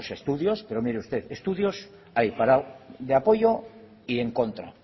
pues estudios pero mire usted estudios hay de apoyo y en contra